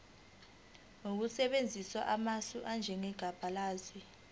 ngokusebenzisa amasu anjengebalazwe